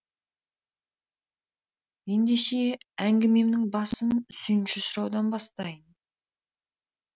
ендеше әңгімемнің басын сүйінші сұраудан бастайын